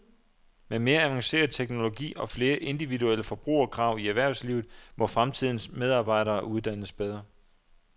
Med mere avanceret teknologi og flere individuelle forbrugerkrav i erhvervslivet må fremtidens medarbejdere uddannes bedre.